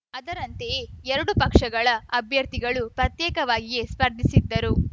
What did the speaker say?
ಅದರಂತೆಯೇ ಎರಡೂ ಪಕ್ಷಗಳ ಅಭ್ಯರ್ಥಿಗಳು ಪ್ರತ್ಯೇಕವಾಗಿಯೇ ಸ್ಪರ್ಧಿಸಿದ್ದರು